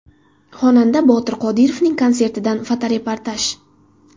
Xonanda Botir Qodirovning konsertidan fotoreportaj.